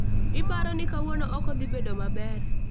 Iparo ni kawuono oko dhi bedo maber